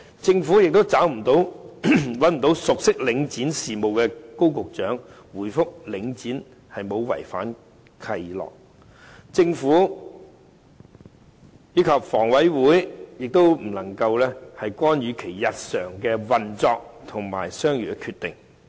政府找不熟悉領展事務的高局長回覆說領展沒有違反契諾，故政府及房屋委員會不能夠干預其日常運作和商業決定。